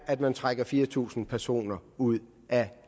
at man trækker fire tusind personer ud af